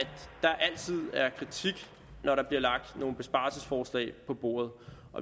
der altid er kritik når der bliver lagt nogle besparelsesforslag på bordet